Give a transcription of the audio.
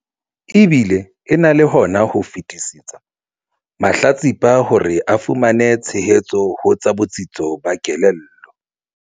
E bile e na le hona ho fetisetsa mahlatsipa hore a fumane tshehetso ho tsa botsitso ba kelello.